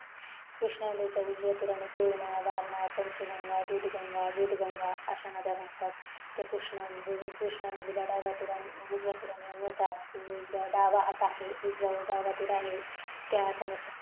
कृष्णा नदीच्या उजव्या तिराने पूर्णा वारनाथ पंचगंगा दूधगंगा विधगंगा अश्या नद्या वाहतात त्या कृष्णा नदीला डाव्या तिराला किवा उजव्या तिराला मिळतात उजव्या तिराने मिळतात उजवा हात आहे त्या हाताने